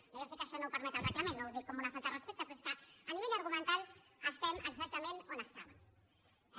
jo ja sé que això no ho permet el reglament no ho dic com una falta de respecte però és que a nivell argumental estem exactament on estàvem